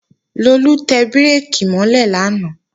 Lolú tẹ bírèkì mọ́ lẹ̀ lánàá